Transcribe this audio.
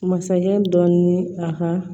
Masakɛ dɔ ni a ka